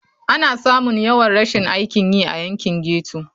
Ana samun yawan rashin aikin yi a yankin ghetto.